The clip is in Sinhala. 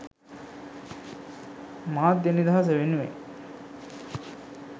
මාධ්‍ය නිදහස වෙනුවෙන්